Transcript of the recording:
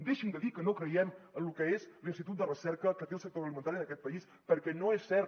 deixin de dir que no creiem en lo que és l’institut de recerca que té el sector agroalimentari en aquest país perquè no és cert